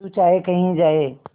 तू चाहे कही जाए